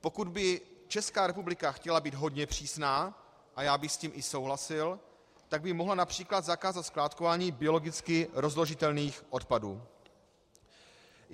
Pokud by Česká republika chtěla být hodně přísná, a já bych s tím i souhlasil, tak by mohla například zakázat skládkování biologicky rozložitelných odpadů.